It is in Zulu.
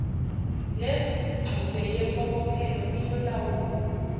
lengxube yempokophelo iyolawulwa